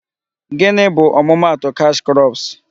Gịnị bu ọmụma atụ cash crops?